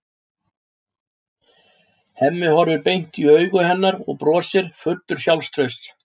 Hemmi horfir beint inn í augu hennar og brosir, fullur af sjálfstrausti.